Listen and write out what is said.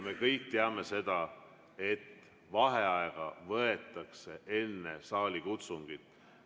Me kõik teame seda, et vaheaeg võetakse enne saalikutsungit.